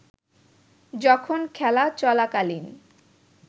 যখন খেলা চলাকালীন